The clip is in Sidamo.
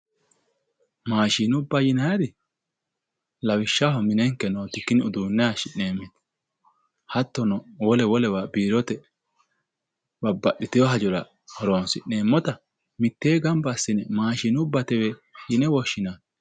Maashinubba yinayiiri, lawishshaho minenke uduunne haayiishshi'neemmeti. Hattono wole wolewa babbaxitewo hajora horonsi'neemmota mitteenni gamba assine maashinubbatewe yine woshshinanni.